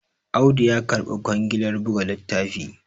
Audu ya karbi kwangilar buga littafi